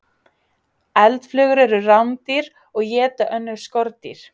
Eldflugur eru rándýr og éta önnur skordýr.